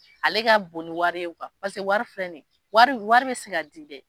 Ale ka bon ni wari ye paseke wari filɛ ni ye wari wari bɛ se ka di dɛ.